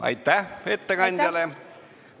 Aitäh ettekandjale!